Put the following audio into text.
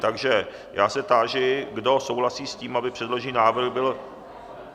Takže já se táži, kdo souhlasí s tím, aby předložený návrh byl...